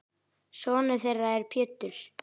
Sonur þeirra er Pétur.